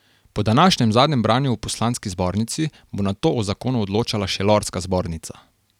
Po današnjem zadnjem branju v poslanski zbornici bo nato o zakonu odločala še lordska zbornica.